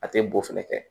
A tɛ boo fɛnɛ kɛ